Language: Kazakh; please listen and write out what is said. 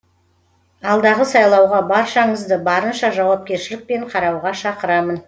алдағы сайлауға баршаңызды барынша жауапкершілікпен қарауға шақырамын